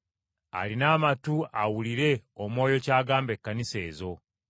Alina amatu awulire Omwoyo ky’agamba Ekkanisa ezo.